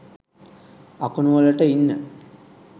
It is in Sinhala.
අකුණු වලට ඉන්න